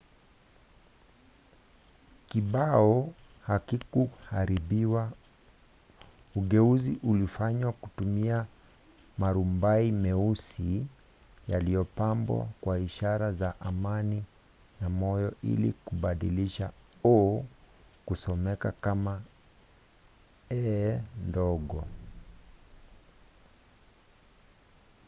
kibao hakikuharibiwa; ugeuzi ulifanywa kutumia maturubai meusi yaliyopambwa kwa ishara za amani na moyo ili kubadilisha o” kusomeka kama e” ndogo